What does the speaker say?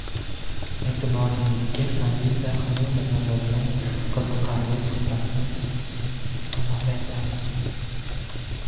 E’tiboringizga Aziza Xalilova bo‘lgan qiziqarli suhbatni havola etamiz.